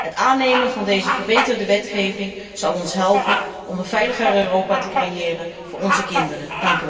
Het aannemen van deze verbeterde wetgeving zal ons helpen om een veiliger Europa te creëren voor onze kinderen.